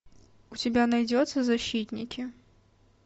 у тебя найдется защитники